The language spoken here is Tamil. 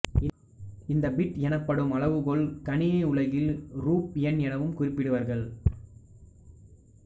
இந்த பிட் எனப்படும் அளவுகோல் கணினி உலகில் ரூப என் எனவும் குறிபிடுவர்கள்